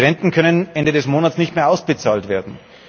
Die Renten können Ende des Monats nicht mehr ausgezahlt werden.